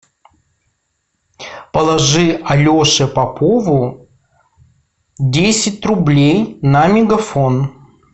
положи алеше попову десять рублей на мегафон